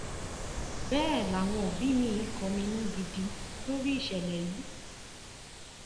bẹẹ làwọn òbí miín kọminú gidi lórí ìṣẹlẹ yìí